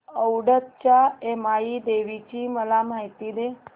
औंधच्या यमाई देवीची मला माहिती दे